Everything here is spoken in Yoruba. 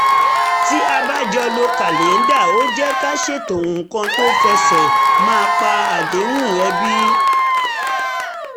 tí a bá jọ lo kàlẹ́ńdà ó jẹ́ ká ṣètò nǹkan fẹ́ ṣe má pa àdéhùn ẹbí